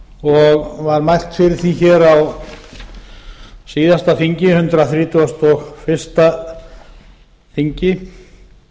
og var mælt fyrir því hér á síðasta þingi hundrað þrítugasta og fyrsta þingi